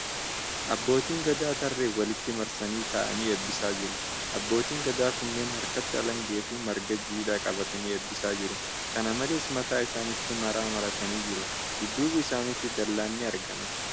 Abbootiin Gadaa tarreen walitti marsanii taa'anii eebbisaa jiru . Abbootiin Gadaa kunneen harkatti alangaa fi marga jiidhaa qabatanii eebbisaa jiru. Kan malees, mataa, isaanitti maraa maratanii jiru . Dudduuba isaniitti dallaan ni argama.